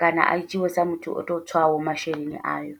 kana a dzhiiwe sa muthu oto tswaho masheleni ayo.